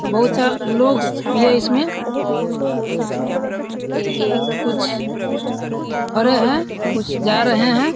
और बहुत सा लोग भी हैं इसमें। कुछ खड़े हैं कुछ जा रहें हैं।